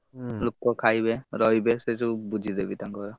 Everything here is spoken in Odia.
ଲୋକ ଖାଇବେ ରହିବେ ସେ ସବୁ ବୁଝିଦେବି ତାଙ୍କର।